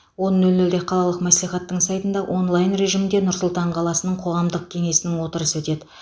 он нөл нөлде қалалық мәслихаттың сайтында онлайн режимінде нұр сұлтан қаласының қоғамдық кеңесінің отырысы өтеді